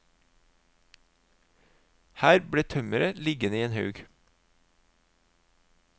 Her ble tømmeret liggende i en haug.